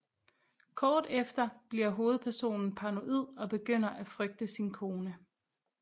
Kort efter bliver hovedpersonen paranoid og begynder at frygte sin kone